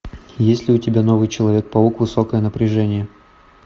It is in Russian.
есть ли у тебя новый человек паук высокое напряжение